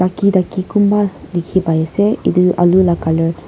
daki daki kunba dikhi pai ase ite alu la colour .